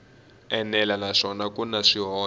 enela naswona ku na swihoxo